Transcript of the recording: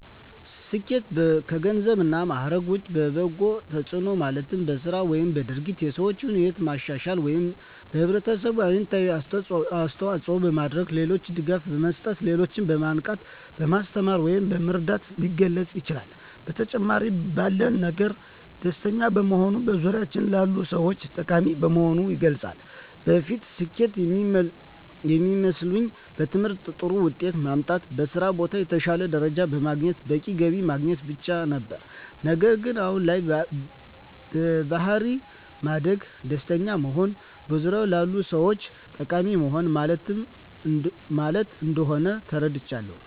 ስኬት ከገንዘብ እና ማዕረግ ውጭ በበጎ ተጽዕኖ ማለትም በሥራ ወይም በድርጊት የሰዎችን ሕይወት ማሻሻል ወይም ለኅብረተሰብ አዎንታዊ አስተዋፅዖ በማድረግ፣ ለሌሎች ድጋፍ መስጠት፣ ሌሎችን በማንቃት፣ በማስተማር ወይም በመርዳት ሊገለፅ ይችላል። በተጨማሪም ባለን ነገር ደስተኛ በመሆንና በዙሪያዎ ላሉ ሰዎች ጠቃሚ በመሆን ይገለፃል። በፊት ስኬት የሚመስለኝ በትምህርት ጥሩ ውጤት ማምጣት፣ በስራ ቦታ የተሻለ ደረጃ በማግኘት በቂ ገቢ ማግኘት ማለት ብቻ ነበር። ነገር ግን አሁን ላይ በባሕሪ ማደግ፣ ደስተኛ መሆንና በዙሪያዎ ላሉ ሰዎች ጠቃሚ መሆን ማለት እንደሆን ተረድቻለሁ።